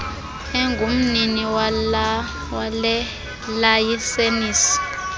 engumnini wale layisenisi